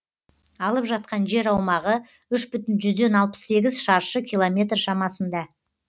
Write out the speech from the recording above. алып жатқан жер аумағы үш бүтін жүзден алпыс сегіз шаршы километр шамасында